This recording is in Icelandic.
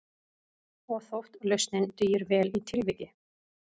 Og þótt lausnin dugir vel í tilviki